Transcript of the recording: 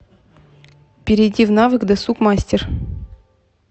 перейди в навык досуг мастер